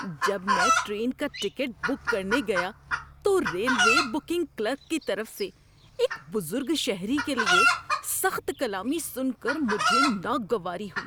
جب میں ٹرین کا ٹکٹ بک کرنے گیا تو ریلوے بکنگ کلرک کی طرف سے ایک بزرگ شہری کے لیے سخت کلامی سن کر مجھے ناگواری ہوئی۔